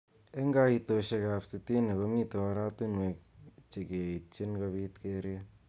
Eng kaitoshek ab sitini komitei oratunwek chekeityin kobit keret.